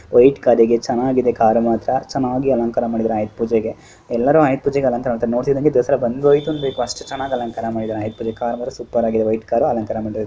White ಕಾರಿ ದೆ ಚೆನ್ನಾಗಿದೆ ಕಾರು ಮಾತ್ರ ಚೆನ್ನಾಗಿ ಅಲಂಕಾರ ಮಾಡಿದ್ದಾರೆ ಆಯುಧ ಪೂಜೆಗೆ ಎಲ್ಲರೂ ಆಯುದ್ ಪೂಜೆಗೆ ಅಲಂಕಾರ ಮಾಡಿದ್ದಾರೆ ನೋಡ್ತಿದ್ದಂಗೆ ದಸರಾ ಬಂದ್ ಹೊಯ್ತು ಅಂದ್ರೆ ಅಷ್ಟು ಚೆನ್ನಾಗಿ ಅಲಂಕಾರ ಮಾಡಿದ್ದಾರೆ ಆಯುದ್ ಪೂಜೆ ಕಾರು ಸೂಪರ್ ಆಗ್ದೇ ವೈಟ್ ಕಾರು .